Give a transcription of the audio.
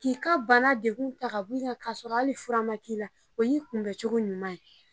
K'i ka bana dekun ta ka bɔ i kan ka sɔrɔ hali furu ma k'i la, o y'i kunbɛ cogo ɲuman ye.